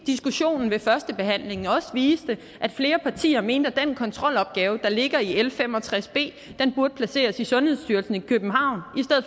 diskussionen ved førstebehandlingen også viste at flere partier mente at den kontrolopgave der ligger i l fem og tres b burde placeres i sundhedsstyrelsen i københavn